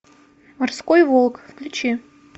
морской волк включи